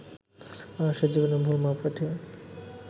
মানুষের জীবনের ভুল মাপকাঠি